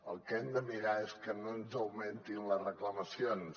el que hem de mirar és que no ens augmentin les reclamacions